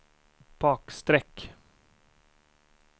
bakstreck